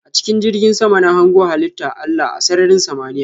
A chikin jirgin sama na hango halitta Allah a sarrarin samaniya.